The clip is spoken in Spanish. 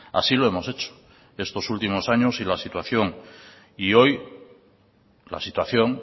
así lo hemos hecho estos últimos años y la situación y hoy la situación